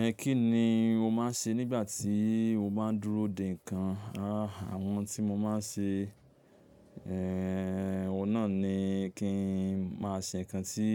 Ẹ kí ni o máa ń ṣe nígbà tí o bá ń dúró dè ǹkan? Àwọn tí mo máa ń ṣe, ẹ́, oun nà ni kí n máa ṣe ǹkan tí